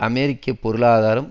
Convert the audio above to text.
அமெரிக்க பொருளாதாரம்